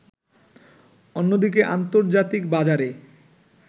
অন্যদিকে আন্তর্জাতিক বাজারে